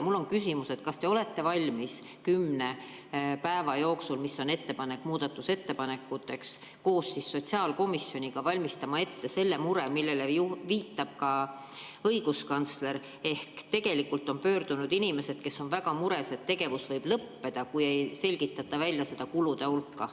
Mul on küsimus: kas te olete valmis kümne päeva jooksul, mis on muudatusettepanekute esitamise aeg, koos sotsiaalkomisjoniga valmistama ette selle mure, millele viitab ka õiguskantsler, kuna on pöördunud inimesed, kes on väga mures, sest tegevus võib lõppeda, kui ei selgitata välja seda kulude hulka.